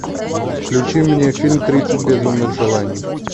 включи мне фильм тридцать безумных желаний